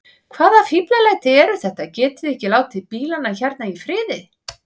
Hvaða fíflalæti eru þetta. getiði ekki látið bílana hérna í friði!